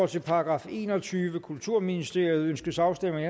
til § enogtyvende kulturministeriet ønskes afstemning